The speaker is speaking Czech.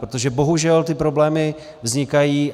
Protože bohužel ty problémy vznikají.